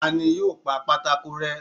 Tá ní yóò pa pàtàkó rẹ?